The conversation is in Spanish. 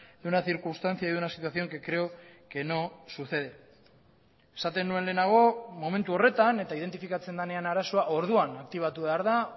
de una circunstancia y de una situación que creo que no sucede esaten nuen lehenago momentu horretan eta identifikatzen denean arazoa orduan aktibatu behar da